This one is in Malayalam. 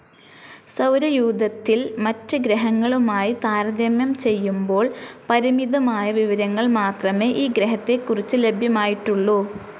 സൗരയൂഥത്തിൽ മറ്റ് ഗ്രഹങ്ങളുമായി താരതമ്യം ചെയ്യുബോൾ പരിമിതമായ വിവരങ്ങൾ മാത്രമേ ഈ ഗ്രഹത്തെ കുറിച്ച് ലഭ്യമായിട്ടുള്ളു.